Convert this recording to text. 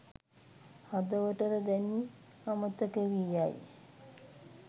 හදවතට දැනී අමතක වී යයි.